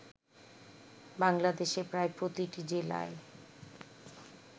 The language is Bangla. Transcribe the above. বাংলাদেশে প্রায় প্রতিটি জেলায়